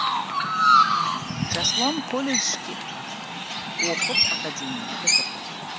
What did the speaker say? жасұлан колледжге оқып академияны бітірді